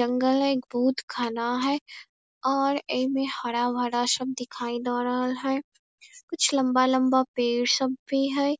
जंगल है। ए बहुत घना है और एमे हरा-भरा सब दिखाई द रहल हेय कुछ लम्बा-लम्बा पेड़ सब भी है।